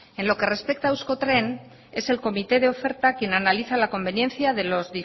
en lo que respecta a euskotren es el comité de oferta quien analiza la conveniencia de los